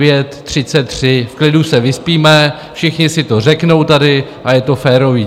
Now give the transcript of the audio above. V klidu se vyspíme, všichni si to řeknou tady a je to férové.